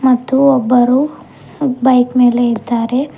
ಮತ್ತು ಒಬ್ಬರು ಬೈಕ್ ಮೇಲೆ ಇದ್ದಾರೆ.